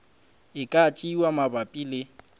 e ka tšewa mabapi le